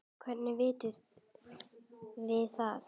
Hvernig vitum við það?